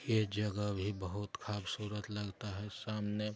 यह जगह भी बहुत खूबसूरत लगता है सामने--